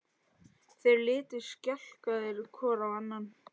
Þeir litu skelkaðir hvor á annan.